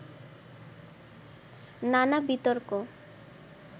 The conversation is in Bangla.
নানা বিতর্ক